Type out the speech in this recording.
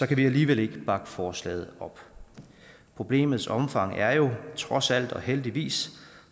kan vi alligevel ikke bakke forslaget op problemets omfang er jo trods alt og heldigvis